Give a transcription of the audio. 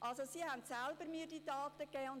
Sie haben mir die Daten also selbst gegeben.